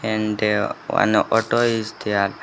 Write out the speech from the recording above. And there one auto is there.